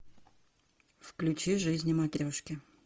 включи жизни матрешки